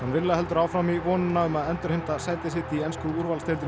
villa heldur áfram í vonina um að endurheimta sæti sitt í ensku úrvalsdeildinni í